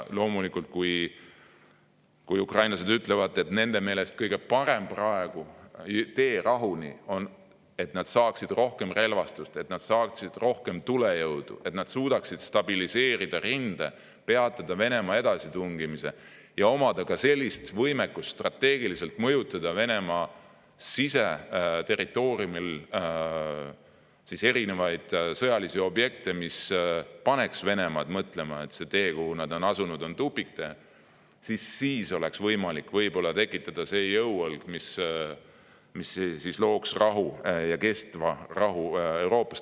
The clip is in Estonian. Loomulikult, ukrainlased ütlevad, et nende meelest on kõige parem tee rahuni see, kui nad saavad rohkem relvastust, tulejõudu, et nad suudaksid stabiliseerida rinde, peatada Venemaa edasitungimise ja omada ka võimekust strateegiliselt mõjutada Venemaa siseterritooriumil olevaid sõjalisi objekte, mis paneks Venemaad mõtlema, et see tee, millele ta on asunud, on tupiktee, siis oleks võimalik tekitada see jõuõlg, mis looks kestva rahu Euroopas.